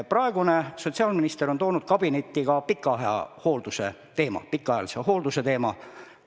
Praegune sotsiaalminister on toonud kabinetti ka pikaajalise hoolduse teema.